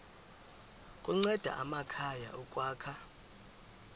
kunceda amakhaya ukwakha